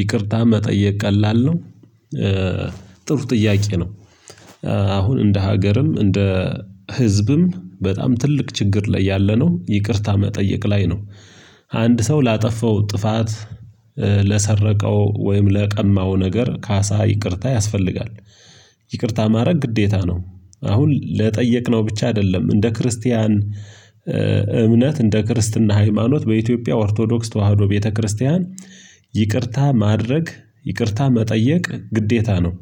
ይቅርታ መጠየቅ ቀላል ነው? ጥሩ ጥያቄ ነው አሁን እንደ ሀገርም እንደ ህዝብም በጣም ትልቅ ችግር ላይ ያለ ነው ይቅርታ መጠየቅ ላይ ነው አንድ ሰው ላጠፋው ጥፋት ለሰረቀው ወይም ለቀማው ነገር ካሳ ይቅርታ ያስፈልጋል። ይቅርታ ማድረግ ግዴታ ነው። አሁን ለጠየቅነው ብቻ አይደለም እንደ ክርስቲያን እምነት እንደ ክርስትና ሃይማኖት በኢትዮጵያ ኦርቶዶክስ ተዋህዶ ቤተክርስቲያን ይቅርታ ማድረግ ይቅርታ መጠየቅ ግዴታ ነው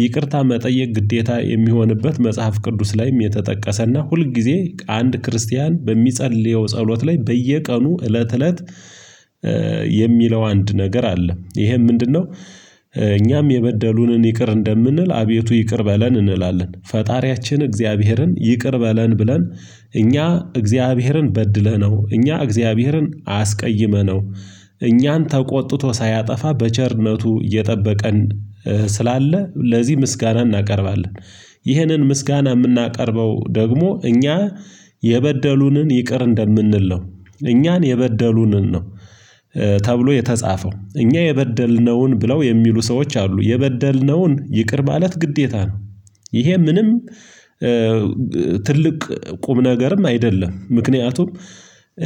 ይቅርታ መጠየቅ ግዴታ የሚሆንበት መጽሐፍ ቅዱስ ላይም የተጠቀሰና ሁል ጊዜ አንድ ክርስቲያን በሚጸልየው ጸሎት ላይ በየቀኑ እለት እለት የሚለው አንድ ነገር አለ ይሄም ምንድነው እኛም የበደሉንን ይቅር እንደምንል አቤቱ ይቅር በለን እንላለን ፈጣሪያችን እግዚአብሔርን ይቅር በለን ብለን እኛ እግዚአብሔርን በድለነው እኛ እግዚአብሔርን አስቀይመነው እኛን ተቆጥቶ ሳያጠፋ በቸርነቱ እየጠበቀን ስላለ ለዚህ ምስጋና እናቀርባለን ይህንን ምስጋና የምናቀርበው ደግሞ እኛ የበደሉንን ይቅር እንደምንል ነው እኛን የበደሉንን ነው ተብሎ የተጻፈው እኛ የበደልነውን ብለው የሚሉ ሰዎች አሉ የበደልነውን ይቅር ማለት ግዴታ ነው ይሄ ምንም ትልቅ ቁም ነገርም አይደለም ምክንያቱም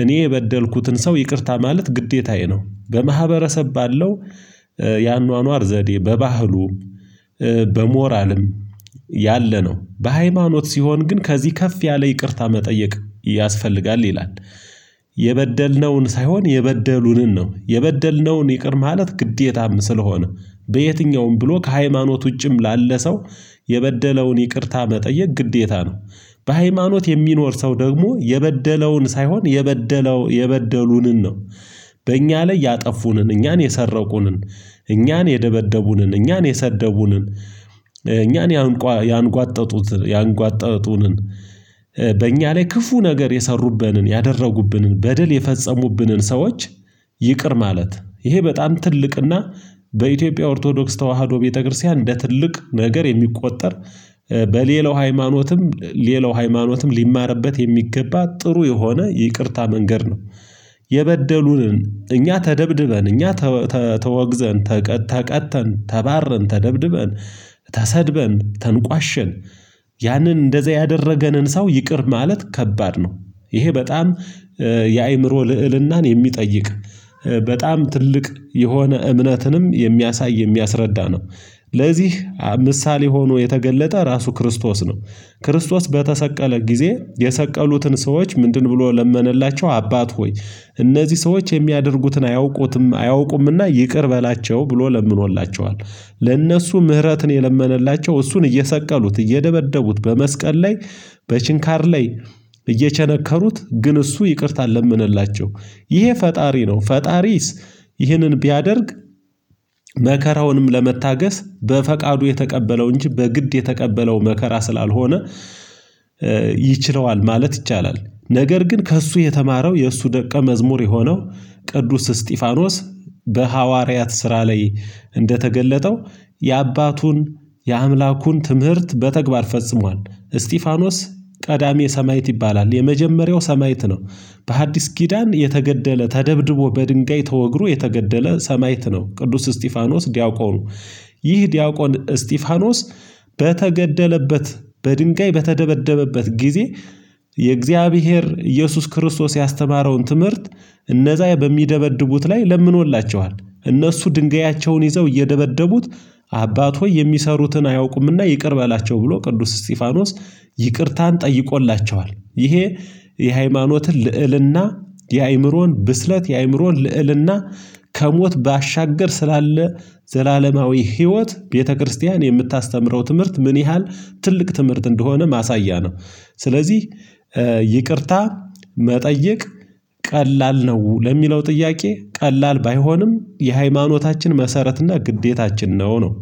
እኔ የበደልኩትን ሰው ይቅርታ ማለት ግዴታዬ ነው። በማህበረሰብ ባለው ያኗኗር ዘዴ በባህሉም በሞራልም ያለ ነው። በሃይማኖት ሲሆን ግን ከዚህ ከፍ ያለ ይቅርታ መጠየቅ ያስፈልጋል ይላል የበደልነውን ሳይሆን የበደሉንን ነው የበደልነውን ይቅር ማለት ግዴታም ስለሆነ በየትኛውም ብሎ ከሃይማኖት ውጪም ላለ ሰው የበደለውን ይቅርታ መጠየቅ ግዴታ ነው በሃይማኖት የሚኖር ሰው ደግሞ የበደለውን ሳይሆን የበደለው የበደሉንን ነው በእኛ ላይ ያጠፉንን እኛን የሰረቁንን እኛን የደበደቡንን እኛን የሰደቡንን እኛን ያንጓ ያንጓጠጡትን ያንጓጠጡንን በእኛ ላይ ክፉ ነገር የሰሩብንን ያደረጉብንን በደል የፈጸሙብንን ሰዎች ይ ይቅር ማለት ይሄ በጣም ትልቅና በኢትዮጵያ ኦርቶዶክስ ተዋህዶ ቤተክርስቲያን እንደ ትልቅ ነገር የሚቆጠር በሌላው ሃይማኖትም ሌላው ሃይማኖትም ሊማርበት የሚገባ ጥሩ የሆነ ይቅርታ መንገድ ነው የበደሉንን እኛ ተደብድበን እኛ ተ ተ ተወግዘን ተቀ ተቀጥተን ተባረን ተደብድበን ተሰድበን ተንቋሸን ያንን እንደዚህ ያደረገንን ሰው ይቅር ማለት ከባድ ነው ይሄ በጣም የአእምሮ ልዕልናን የሚጠይቅ በጣም ትልቅ የሆነ እምነትንም የሚያሳይ የሚያስረዳ ነው ለዚህ ምሳሌ ሆኖ የተገለጠ ራሱ ክርስቶስ ነው። ክርስቶስ በተሰቀለ ጊዜ የሰቀሉትን ሰዎች ምንድን ብሎ ለመነላቸው አባት ሆይ እነዚህ ሰዎች የሚያደርጉትን አያውቁትም አያውቁምና ይቅር በላቸው ብሎ ለምኖላቸዋል ለእነሱ ምህረትን የለመነላቸው እሱን እየሰቀሉት እየደበደቡት በመስቀል ላይ በችንካር ላይ እየቸነከሩት ግን እሱ ይቅርታ ለመነላቸው ይሄ ፈጣሪ ነው። ፈጣሪስ ይህንን ቢያደርግ መከራውንም ለመታገስ በፈቃዱ የተቀበለው እንጂ በግድ የተቀበለው መከራ ስላልሆነ ይችለዋል ማለት ይቻላል። ነገር ግን ከእሱ የተማረው የእሱ ደቀ መዝሙር የሆነው ቅዱስ እስጢፋኖስ በሐዋርያት ስራ ላይ እንደተገለጠው የአባቱን የአምላኩን ትምህርት በተግባር ፈጽሟል። እስጢፋኖስ ቀዳሚ ሰማይት ይባላል። የመጀመሪያው ሰማይት ነው በሐዲስ ኪዳን የተገደለ ተደብድቦ በድንጋይ ተወግሮ የተገደለ ሰማዕት ነው ቅዱስ እስጢፋኖስ ዲያቆኑ ይህ ዲያቆን እስጢፋኖስ በተገደለበት በድንጋይ በተደበደበበት ጊዜ የእግዚአብሔር ኢየሱስ ክርስቶስ ያስተማረውን ትምህርት እነዛ በሚደበድቡት ላይ ለምኖላቸዋል እነሱ ድንጋያቸውን ይዘው እየደበደቡት አባት ሆይ የሚሰሩትን አያውቁምና ይቅር በላቸው ብሎ ቅዱስ እስጢፋኖስ ይቅርታን ጠይቆላቸዋል ይሄ የሃይማኖትን ልዕልና የአእምሮን ብስለት የአእምሮን ልዕልና ከሞት ባሻገር ስላለ ዘላለማዊ ህይወት ቤተክርስቲያን የምታስተምረው ትምህርት ምን ያህል ትልቅ ትምህርት እንደሆነ ማሳያ ነው ስለዚህ ይቅርታ መጠየቅ ቀላል ነው ለሚለው ጥያቄ ቀላል ባይሆንም የሃይማኖታችን መሰረት እና ግዴታችን ነው ነው